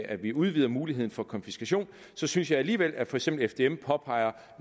at vi udvider muligheden for konfiskation så synes jeg alligevel at for eksempel fdm påpeger